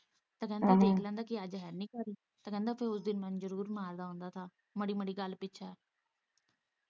ਪਹਿਲਾਂ ਦੇਖ ਲੈਂਦਾ ਅੱਜ ਹੈਨੀ ਘਰ ਕਹਿੰਦਾ ਫੇਰ ਉਸ ਦਿਨ ਮੈਨੂੰ ਜ਼ਰੂਰ ਮਾਰਦਾ ਹੁੰਦਾ ਸਾਂ ਮਾੜੀ ਗੱਲ ਪਿੱਛੇ